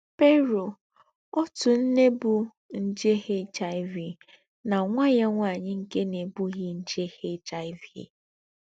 PERU — Òtú ǹné bú njè HIV nà nwá yá nwányị nké nà-èbùghí njè HIV.